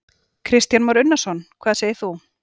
Kristján Már Unnarsson: Hvað segir þú?